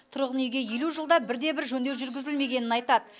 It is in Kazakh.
тұрғын үйге елу жылда бір де бір жөндеу жүргізілмегенін айтады